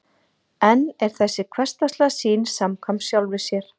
en er þessi hversdagslega sýn samkvæm sjálfri sér